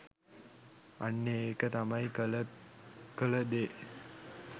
අන්න ඒක තමයි කළ කළ දේ